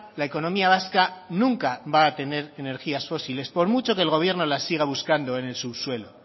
la economía vasca nunca va a tener energías fósiles por mucho que el gobierno las siga buscando en el subsuelo